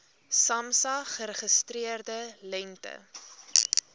samsa geregistreerde lengte